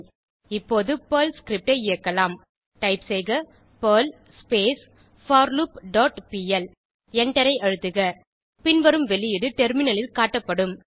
இப்போது இந்த Perl script ஐ இயக்கலாம் டைப் செய்க பெர்ல் போர்லூப் டாட் பிஎல் எண்டரை அழுத்துக பின்வரும் வெளியீடு டெர்மினலில் காட்டப்படும்